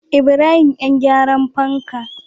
Ibrahim yan gyaran fanka